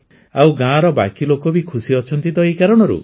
ଆଉ ଗାଁର ବାକି ଲୋକ ବି ଖୁସି ଅଛନ୍ତି ଏହି କାରଣରୁ